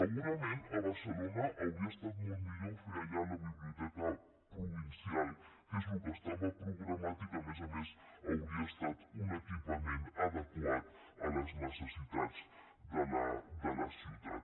segurament a barcelona hauria estar molt millor fer allà la biblioteca provincial que és el que estava programat i que a més a més hauria estat un equipament adequat a les necessitats de la ciutat